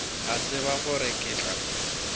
a tseba gore ke tla